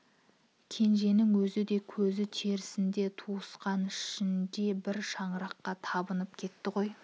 кенженің өзі де көзі тірісінде туысқан ішінде бір шыраққа табынып кетті ғой